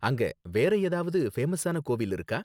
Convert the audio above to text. அங்க வேற ஏதாவது ஃபேமஸான கோவில் இருக்கா?